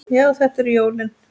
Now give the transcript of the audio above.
Já, þetta eru jólin!